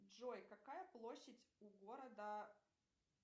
джой какая площадь у города